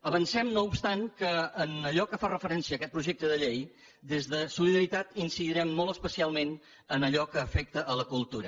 avancem no obstant que en allò que fa referència a aquest projecte de llei des de solidaritat incidirem molt especialment en allò que afecta la cultura